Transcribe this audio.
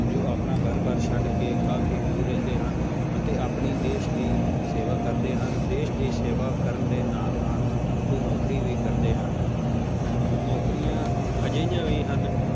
ਜੋ ਆਪਣਾ ਘਰ ਬਾਰ ਛੱਡ ਕੇ ਕਾਫ਼ੀ ਦੂਰ ਰਹਿੰਦੇ ਹਨ ਅਤੇ ਆਪਣੀ ਦੇਸ ਦੀ ਸੇਵਾ ਕਰਦੇ ਹਨ ਦੇਸ ਦੀ ਸੇਵਾ ਕਰਨ ਦੇ ਨਾਲ ਨਾਲ ਉਹ ਨੌਕਰੀ ਵੀ ਕਰਦੇ ਹਨ ਨੌਕਰੀਆਂ ਅਜਿਹੀਆਂ ਵੀ ਹਨ